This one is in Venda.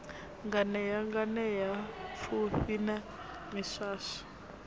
nganea nganea pfufhi na miswaswo